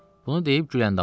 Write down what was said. Bunu deyib Güləndamı səslədi.